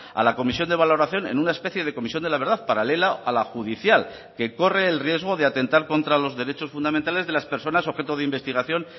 a la comisión de valoración en una especie de comisión de la verdad paralela a la judicial que corre el riesgo de atentar contra los derechos fundamentales de las personas objeto de investigación